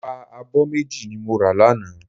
Ẹ̀wà abọ́ méjì ni mo rà lánàá.